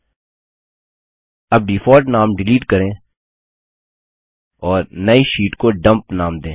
अब डिफॉल्ट नाम डिलीट करें और नई शीट को डम्प नाम दें